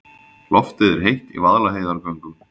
Loftið er heitt í Vaðlaheiðargöngum.